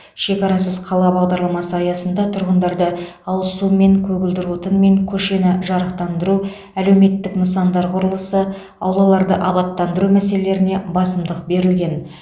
шекарасыз қала бағдарламасы аясында тұрғындарды ауызсумен көгілдір отынмен көшені жарықтандыру әлеуметтік нысандар құрылысы аулаларды абаттандыру мәселелеріне басымдық берілген